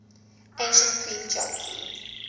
ancient greek geography